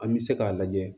An bɛ se k'a lajɛ